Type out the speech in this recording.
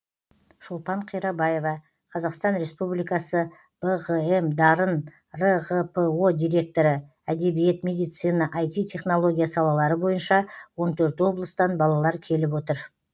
шолпан қирабаева қазақстан республикасы бғм дарын рғпо директоры әдебиет медицина ай ти технология салалары бойынша он төрт облыстан балалар келіп отыр